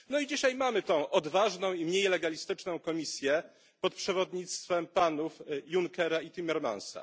No i dzisiaj mamy tę odważną i mniej legalistyczną Komisję pod przewodnictwem panów Junckera i Timmermansa.